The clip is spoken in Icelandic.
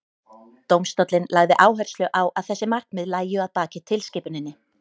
dómstóllinn lagði áherslu á að þessi markmið lægju að baki tilskipuninni